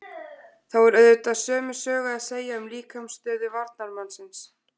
Þá er auðvitað sömu sögu að segja um líkamsstöðu varnarmannsins.